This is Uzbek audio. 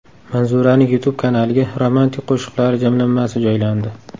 Manzuraning YouTube kanaliga romantik qo‘shiqlari jamlanmasi joylandi.